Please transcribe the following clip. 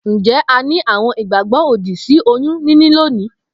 Njé a ni àwon ìgbàgbó òdì sí oyún níní lónìí?